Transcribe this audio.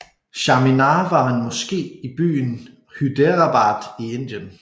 Charminar er en moské i byen Hyderabad i Indien